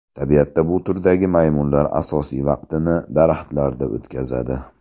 Tabiatda bu turdagi maymunlar asosiy vaqtini daraxtlarda o‘tkazadi.